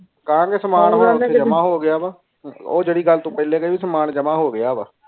ਕਹਾ ਗਏ ਸਮਾਂ ਜਾਮਾ ਹੋ ਗਿਆ ਵੇ ਉਹ ਤੂੰ ਜੇਰੀ ਗੱਲ ਪਹਿਲੇ ਕਈ ਸਮਾਂ ਜਾਮਾ ਹੋ ਗਿਆ ਵੇ